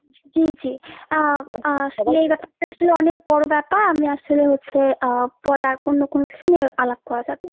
জি জি। আহ আহ এই ব্যাপারটা আসলে অনেক বড়ো ব্যাপার। আমি আসলে হচ্ছে আহ পরে আর অন্য কোনো সময়ে আলাপ করা যাবে।